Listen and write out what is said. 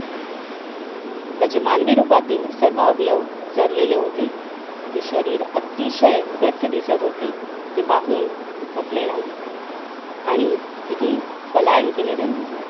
त्याचे मानवी रूपातील सर्व अवयव सरलेले होते ते शरीर अतिशय गच्च दिसत होते ते पाहून थकले नाही आणि तिथून पलायन केले त्यांनी